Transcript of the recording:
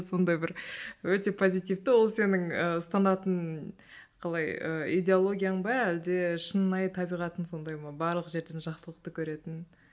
сондай бір өте позитивті ол сенің і ұстанатын қалай ы идеологияң ба әлде шынайы табиғатың сондай ма барлық жерден жақсылықты көретін